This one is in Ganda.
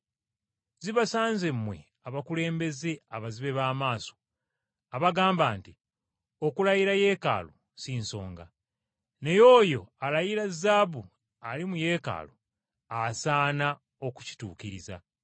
“Zibasanze mmwe abakulembeze abazibe b’amaaso abagamba nti, ‘Okulayira Yeekaalu, si nsonga, naye oyo alayira zaabu ali mu Yeekaalu, asaana okukituukiriza!’